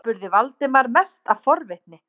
spurði Valdimar, mest af forvitni.